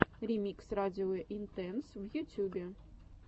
ремикс радио интэнс в ютюбе